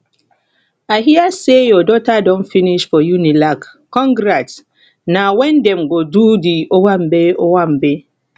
i hear sey your daughter don finish for unilagcongrats na wen dem go do di owambe owambe